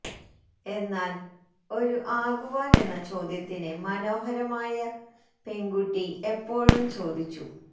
എന്നാൽ ഒരു ആകുവാൻ എന്ന ചോദ്യത്തിന് മനോഹരമായ പെൺകുട്ടി എപ്പോഴും ചോദിച്ചു